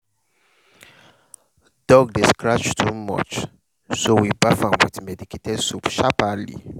dog dey scratch too much so we baff am with medicated soap sharperly.